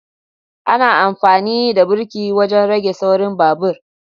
ana amfani da birki wajen rage saurin babur